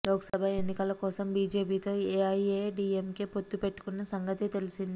లోక్సభ ఎన్నికల కోసం బిజెపితో ఎఐఎడిఎంకె పొత్తు పెట్టుకున్న సంగతి తెలిసిందే